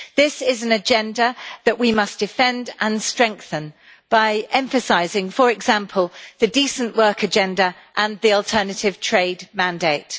This is an agenda that we must defend and strengthen by emphasising, for example, the decent work agenda and the alternative trade mandate.